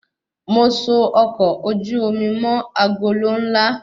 Mo so ọkọ ojú omi mọ agolo nla